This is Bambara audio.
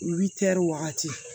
wagati